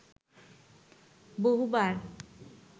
বহুবার